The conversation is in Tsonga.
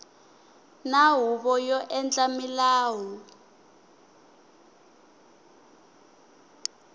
na huvo yo endla milawu